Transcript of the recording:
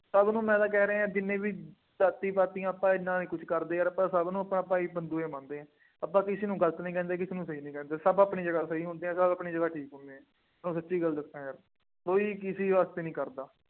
ਸਭ ਨੂੰ ਮੈਂ ਤਾਂ ਕਹਿ ਰਿਹਾਂ, ਜਿੰਨੇ ਵੀ ਜਾਤੀ ਪਾਤੀਆ ਆਪਾਂ ਐਨਾ ਨਹੀਂ ਕੁੱਛ ਕਰਦੇ ਯਾਰ, ਆਪਾਂ ਸਭ ਨੂੰ ਆਪਾਂ ਭਾਈ ਬੰਧੂ ਹੀ ਮੰਨਦੇ ਹਾਂ। ਆਪਾ ਕਿਸੇ ਨੂੰ ਗਲਤ ਨਹੀਂ ਕਹਿੰਦੇ ਕਿਸੇ ਨੂੰ ਨਹੀ ਕਰਦੇ, ਸਭ ਆਪਣੀ ਜਗ੍ਹਾ ਸਹੀ ਹੁੰਦੇ, ਤਾਂ ਮੈਂ ਆਪਣੀ ਜਗ੍ਹਾ ਠੀਕ ਹੋ ਗਿਆ। ਤੁਹਾਨੂੰ ਸੱਚੀ ਗੱਲ ਦੱਸਾਂ ਯਾਰ, ਕੋਈ ਕਿਸੇ ਵਾਸਤੇ ਨਹੀਂ ਖੜ੍ਹਦਾ।